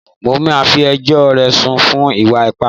Màá fí ẹjọ́ rẹ̀ sùn fún ìwà ipá!